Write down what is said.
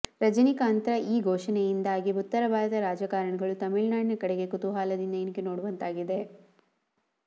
ರಜನಿಕಾಂತ್ರ ಈ ಘೋಷಣೆಯಿಂದಾಗಿ ಉತ್ತರ ಭಾರತದ ರಾಜಕಾರಣಿಗಳು ತಮಿಳುನಾಡಿನ ಕಡೆಗೆ ಕುತೂಹಲದಿಂದ ಇಣುಕಿ ನೋಡುವಂತಾಗಿದೆ